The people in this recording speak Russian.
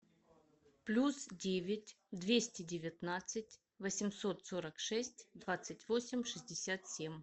плюс девять двести девятнадцать восемьсот сорок шесть двадцать восемь шестьдесят семь